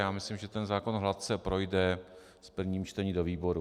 Já myslím, že ten zákon hladce projde v prvním čtení do výboru.